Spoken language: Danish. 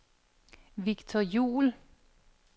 Victor Juul